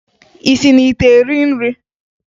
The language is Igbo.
Ị si n'ite eri nri?